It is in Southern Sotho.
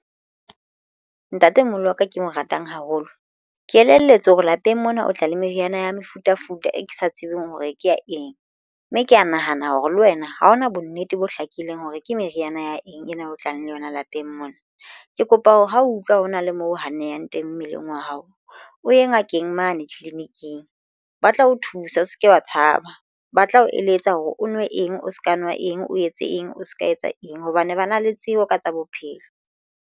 Ntatemoholo wa ka ke mo ratang haholo. Ke elelletswe hore lapeng mona o tla le meriana ya mefutafuta e ke sa tsebeng hore ke ya eng, mme ke ya nahana hore le wena ha hona bonnete bo hlakileng hore ke meriana ya eng ena e tlang le yona lapeng mona. Ke kopa hore ho utlwa hona le moo ho nnehang teng mmeleng wa hao o ye ngakeng mane tleleniking ba tla o thusa o se ke wa tshaba ba tla o eletsa hore o nwe eng o se ka nwa eng o etse eng o se ka etsa eng hobane ba na le tsebo ka tsa bophelo.